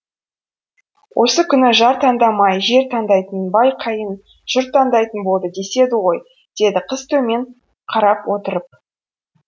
осы күні жар таңдамай жер таңдайтын бай қайын жұрт таңдайтын болды деседі ғой деді қыз төмен қарап отырып